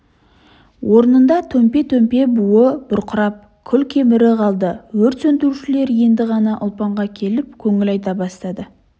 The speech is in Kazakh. орнында төмпе-төмпе болып буы бұрқырап күл-кемірі қалды өрт сендірушілер енді ғана ұлпанға келіп көңіл айта бастады